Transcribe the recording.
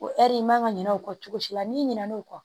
O ɛri man ka ɲina o kɔ cogo si la n'i ɲinɛn'o kɔ